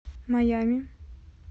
майами